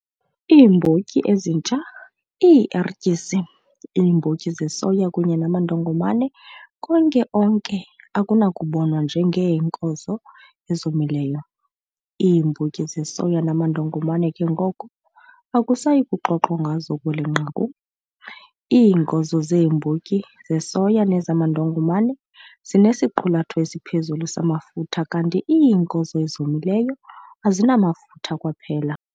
Iimbotyi ezintsha, iierityisi, iimbotyi zesoya kunye namandongomane konke onke akunakubonwa njengeenkozo ezomileyo. Iimbotyi zesoya namandongomane ke ngoko akusayi kuxoxwa ngazo kweli nqaku. Iinkozo zeembotyi zesoya nezamandongomane zinesiqulatho esiphezulu samafutha kanti iinkozo ezomileo azinamafutha kwaphela.